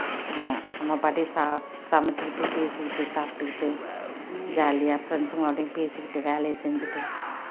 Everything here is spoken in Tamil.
அஹ் நம்ம பாட்டுக்கு சாப்~ சமைச்சுகிட்டு பேசிகிட்டு சாப்பிட்டுகிட்டு jolly யா friends பேசிகிட்டு வேலையை செஞ்சுட்டு